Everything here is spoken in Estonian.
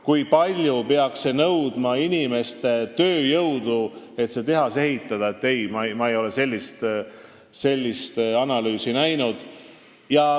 Kui palju peaks nõudma tööjõudu see, et see tehas valmis ehitada – ei, ma ei ole sellist analüüsi näinud.